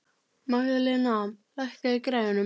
Magðalena, lækkaðu í græjunum.